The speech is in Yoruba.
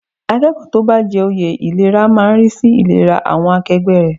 Akẹ́kọ̀ọ́ tó bá jẹ oyè ìlera máa rí sí ìlera àwọn akẹgbẹ́ rẹ̀.